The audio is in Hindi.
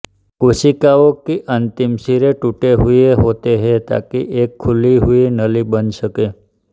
कोशिकाओं की अंतिम सिरे टूटे हुए होते हैं ताकि एक खुली हुई नली बन सके